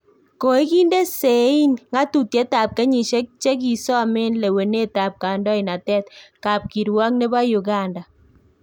Koikinde sei ngatutiet ab kenyisiek chekisomen lewenet ab kandoinatet kapkirwok nebo Uganda